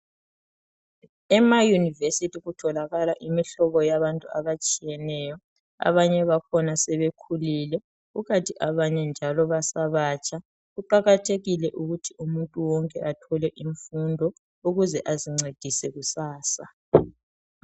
Ema University kutholakala imihlobo yabantu abatshiyeneyo abanye bakhona sebekhulile kukanti abanye njalo basebatsha kuqakathekile ukuthi umuntu wonke athole imfundo ukuze azincedise kusasa.